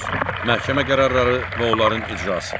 Məhkəmə qərarları və onların icrası.